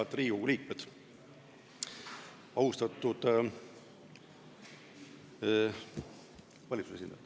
Head Riigikogu liikmed!